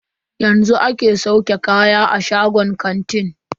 Yanzu ake sauke kaya a shagon kantin.